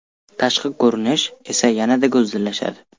Tashqi ko‘rinish esa yanada go‘zallashadi.